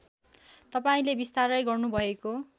तपाईँले बिस्तारै गर्नुभएको